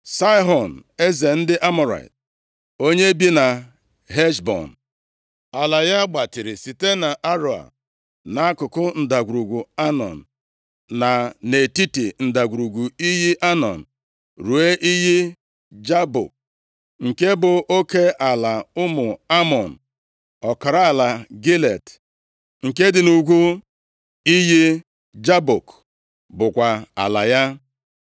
Saịhọn, eze ndị Amọrait, onye bi na Heshbọn. Ala ya gbatịrị site nʼAroea, nʼakụkụ ndagwurugwu Anọn, na nʼetiti ndagwurugwu iyi Anọn, ruo iyi Jabọk, nke bụ oke ala ụmụ Amọn. Ọkara ala Gilead, nke dị nʼugwu iyi Jabọk bụkwa ala ya.